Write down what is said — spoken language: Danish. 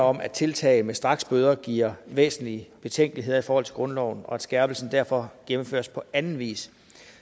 om at tiltag med straksbøder giver væsentlige betænkeligheder i forhold til grundloven og at skærpelsen derfor gennemføres på anden vis